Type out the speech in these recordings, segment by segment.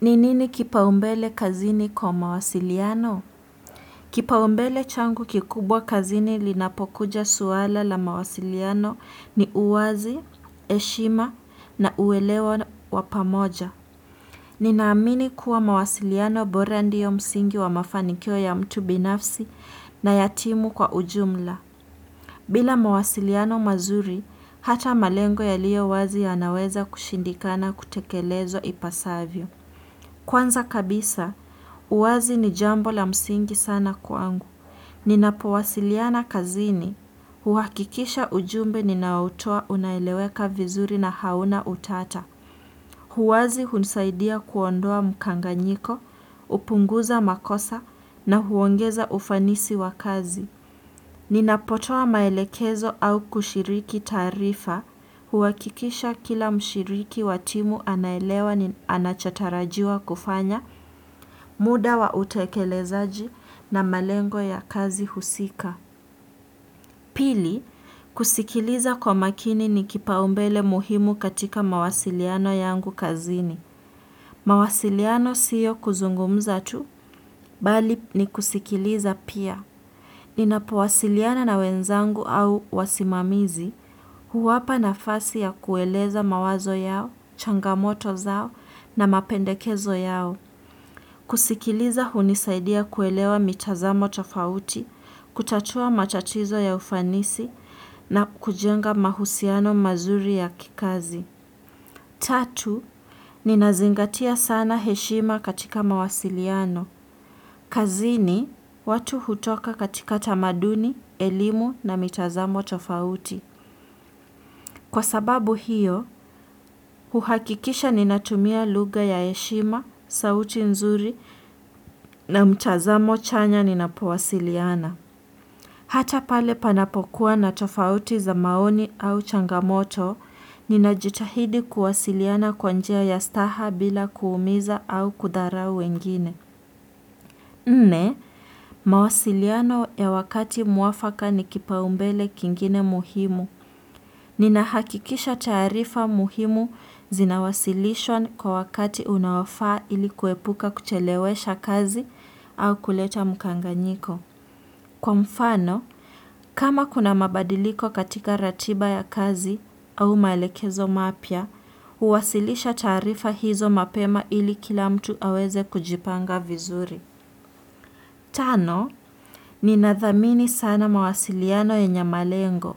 Ni nini kipaumbele kazini kwa mawasiliano? Kipaumbele changu kikubwa kazini linapokuja suala la mawasiliano ni uwazi, heshima na uwelewa wa pamoja. Ninaamini kuwa mawasiliano bora ndiyo msingi wa mafanikyo ya mtu binafsi na yatimu kwa ujumla. Bila mawasiliano mazuri, hata malengo ya liyowazi yanaweza kushindikana kutekelezwa ipasavyo. Kwanza kabisa, uwazi ni jambo la msingi sana kwangu. Ninapowasiliana kazini, huhakikisha ujumbe ninaotoa unaeleweka vizuri na hauna utata. Huwazi hunisaidia kuondoa mkanganyiko, upunguza makosa na huongeza ufanisi wa kazi. Ninapotoa maelekezo au kushiriki taarifa huhakikisha kila mshiriki wa timu anaelewa ni anachotarajiwa kufanya muda wa utekelezaji na malengo ya kazi husika. Pili, kusikiliza kwa makini ni kipaumbele muhimu katika mawasiliano yangu kazini. Mawasiliano sio kuzungumza tu, bali ni kusikiliza pia. Ninapowasiliana na wenzangu au wasimamizi, huwapa na fasi ya kueleza mawazo yao, changamoto zao na mapendekezo yao. Kusikiliza hunisaidia kuelewa mitazamo tofauti, kutatua machachizo ya ufanisi na kujenga mahusiano mazuri ya kikazi. Tatu, ninazingatia sana heshima katika mawasiliano. Kazini, watu hutoka katika tamaduni, elimu na mitazamo tofauti. Kwa sababu hiyo, uhakikisha ninatumia lugha ya heshima, sauti nzuri na mtazamo chanya ninapowasiliana. Hata pale panapokuwa na tofauti za maoni au changamoto, ninajitahidi kuwasiliana kwa njia ya staha bila kuumiza au kudharau wengine. Nne, mawasiliano ya wakati muafaka ni kipaumbele kingine muhimu. Ninahakikisha taarifa muhimu zinawasilishwa kwa wakati unaofaa ili kuepuka kuchelewesha kazi au kuleta mkanganyiko. Kwa mfano, kama kuna mabadiliko katika ratiba ya kazi au maelekezo mapya, huwasilisha taarifa hizo mapema ili kila mtu aweze kujipanga vizuri. Tano, ninathamini sana mawasiliano yenye malengo.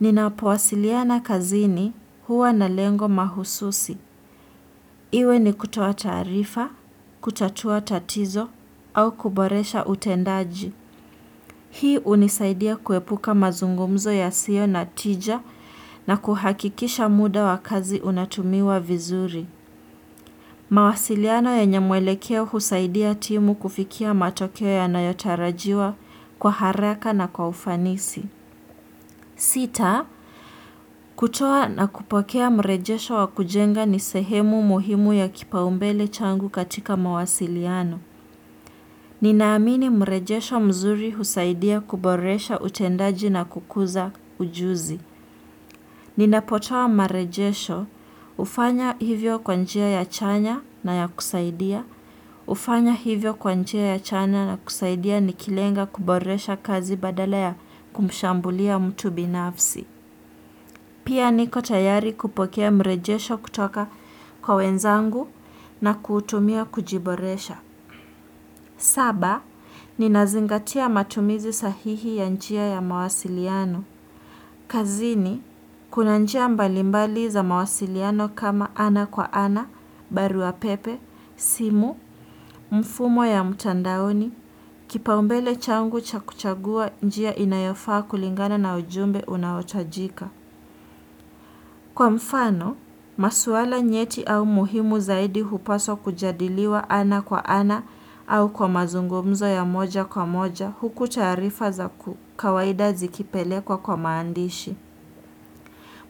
Ninapowasiliana kazini huwa na lengo mahususi. Iwe ni kutoa taarifa, kutatua tatizo, au kuboresha utendaji. Hii unisaidia kuepuka mazungumzo ya sio na tija na kuhakikisha muda wa kazi unatumiwa vizuri. Mawasiliano yenye mwelekeo husaidia timu kufikia matokeo ya nayotarajiwa kwa haraka na kwa ufanisi. Sita, kutoa na kupokea mrejesho wa kujenga ni sehemu muhimu ya kipaumbele changu katika mawasiliano. Ninaamini mrejesho mzuri husaidia kuboresha utendaji na kukuza ujuzi. Ninapotoa marejesho hufanya hivyo kwa njia ya chanya na ya kusaidia. Hufanya hivyo kwa njia ya chanya na kusaidia nikilenga kuboresha kazi badala ya kumshambulia mtu binafsi. Pia niko tayari kupokea mrejesho kutoka kwa wenzangu na kutumia kujiboresha. Saba, ninazingatia matumizi sahihi ya njia ya mawasiliano. Kazini, kuna njia mbalimbali za mawasiliano kama ana kwa ana, barua pepe, simu, mfumo ya mtandaoni, kipaumbele changu cha kuchagua njia inayofaa kulingana na ujumbe unaotajika. Kwa mfano, masuala nyeti au muhimu zaidi hupaswa kujadiliwa ana kwa ana au kwa mazungumzo ya moja kwa moja huku taarifa za ku kawaida zikipelekwa kwa maandishi.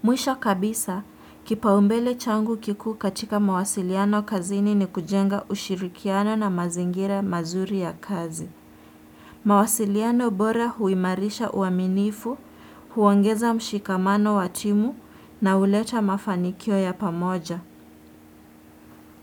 Mwisho kabisa, kipaumbele changu kikuu katika mawasiliano kazini ni kujenga ushirikiana na mazingira mazuri ya kazi. Mawasiliano bora huimarisha uaminifu, huongeza mshikamano wa timu na huleta mafanikio ya pamoja.